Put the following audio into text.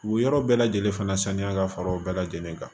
U yɔrɔ bɛɛ lajɛlen fana saniya ka fara o bɛɛ lajɛlen kan